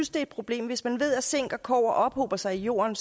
et problem hvis man ved at zink og kobber ophober sig i jorden